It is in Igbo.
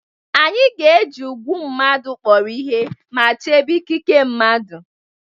Anyị ga-eji ugwu mmadụ kpọrọ ihe ma chebe ikike mmadụ